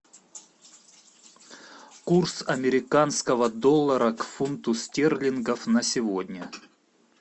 курс американского доллара к фунту стерлингов на сегодня